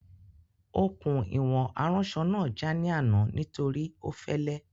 Okùn ìwọ̀n aránsọ náà já ní àná nítorí ó fẹ́lẹ́